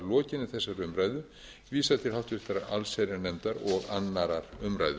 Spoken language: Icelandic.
lokinni þessari umræðu vísað til háttvirtrar allsherjarnefndar og annarrar umræðu